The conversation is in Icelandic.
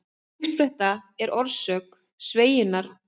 Uppspretta eða orsök sveigjunnar er massi eða orka á tilteknum stöðum.